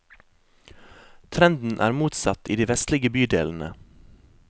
Trenden er motsatt i de vestlige bydelene.